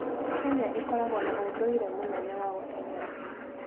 Kenya ĩkoragwo na ũndũire mũnene wa gũteng'era.